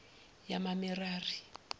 yamamerari